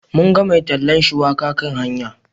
Mun ga mai tallan shuwaka kan hanya.